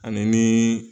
Ani ni